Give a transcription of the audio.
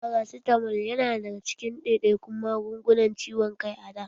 Farasitamol ya na cikin ɗaiɗaikun magungunan ciwon kai a da.